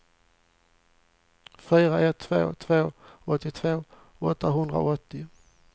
fyra ett två två åttiotvå åttahundraåttio